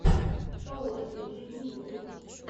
шоу этой жизни ютуб